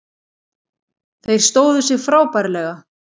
Þeir stóðu sig frábærlega